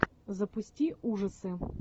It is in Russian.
запусти ужасы